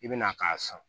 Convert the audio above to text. I bɛna k'a san